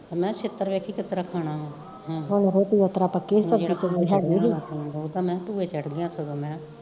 ਤੇ ਮੈਂ ਕਿਹਾ ਛਿੱਤਰ ਦੇਖੀ ਕਿਸ ਤਰਾਂ ਖਾਣਾ ਵਾ ਭੂਏ ਚੜ ਗਿਆ ਮੈਂ ਕਿਹਾ ਹਾਂ